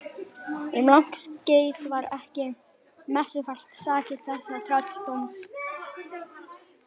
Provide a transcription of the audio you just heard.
Um langt skeið var ekki messufært sakir þessa trölldóms.